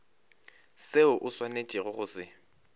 seo o swanetšego go se